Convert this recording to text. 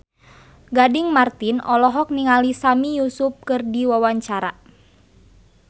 Gading Marten olohok ningali Sami Yusuf keur diwawancara